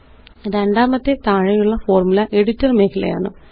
രണ്ടാമത്തേത് താഴെയുള്ള formula editor മേഖലയാണ്